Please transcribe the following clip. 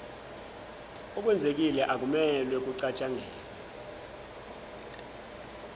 okwenzekile akumelwe kucatshangelwe